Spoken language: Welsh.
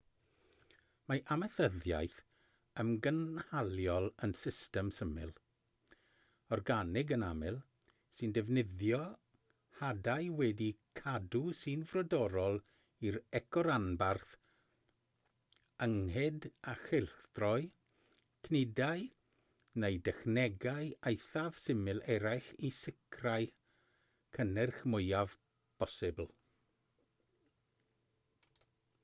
mae amaethyddiaeth ymgynhaliol yn system syml organig yn aml sy'n defnyddio hadau wedi'u cadw sy'n frodorol i'r ecoranbarth ynghyd â chylchdroi cnydau neu dechnegau eithaf syml eraill i sicrhau'r cynnyrch mwyaf posibl